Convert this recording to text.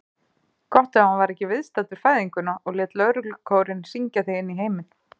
Gott ef hann var ekki viðstaddur fæðinguna og lét lögreglukórinn syngja þig inní heiminn.